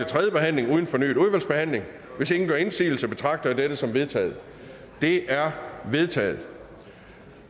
tredje behandling uden fornyet udvalgsbehandling hvis ingen gør indsigelse betragter jeg dette som vedtaget det er vedtaget